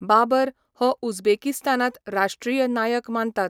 बाबर हो उझबेकिस्तानांत राष्ट्रीय नायक मानतात.